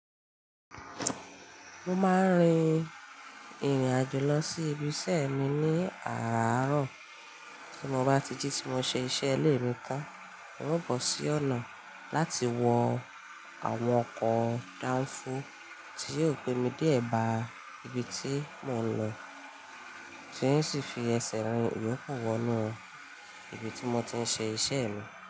Mo máa ń rin ìrìn àjò lọ sí ibi ṣẹ́ mi ní àràárọ̀. Tí mo bá ti jí ti mo ṣe iṣẹ́ ilé mi tán, un o bọ sí ọ̀nà láti wọ àwọn ọkọ̀ dáńfó tí yóò gbé mi dé e bá ibi tí mò ń lọ, tí n sì fi ẹsẹ̀ rìn yòókù wọ nú ibi tí mo ti ń ṣe iṣẹ́ mi.